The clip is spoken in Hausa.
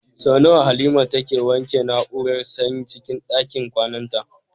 Sau nawa Halima take wanke na'urar sanyin cikin ɗakin kwananta?